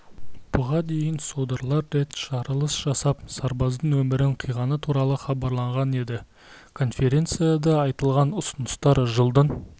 бұған дейін содырлар рет жарылыс жасап сарбаздың өмірін қиғаны туралы хабарланған еді конференцияда айтылған ұсыныстар жылдың